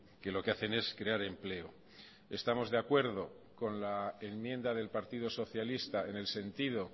que lo que hacen es crear empleo estamos de acuerdo con la enmienda del partido socialista en el sentido